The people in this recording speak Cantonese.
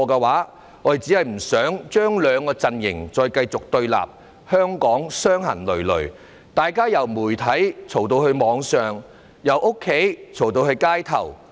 我們只是不想兩個陣營繼續對立，令香港傷痕累累，大家從媒體吵到網上，從家裏吵到街頭。